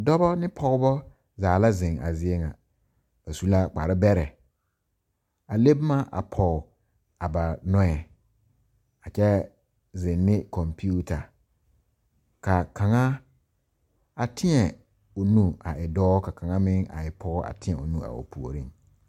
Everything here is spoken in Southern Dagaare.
Dɔba ne pɔgeba zaa la zeŋ a zie ŋa ba su la kparebɛrɛ a le boma a pɔge a ba nɔɛ a kyɛ zeŋ ne kɔmpeta ka kaŋa a teɛ o nu a e dɔɔ ka kaŋa meŋ a e pɔge a teɛ o nu a o puoriŋ.